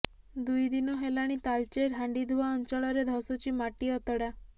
ଦୁଇ ଦିନ ହେଲାଣି ତାଳଚେର ହାଣ୍ଡିଧୁଆଁ ଅଞ୍ଚଳରେ ଧସୁଛି ମାଟି ଅତଡା